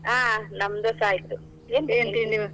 ಹಾ ನಮ್ದೂಸ ಆಯ್ತು, .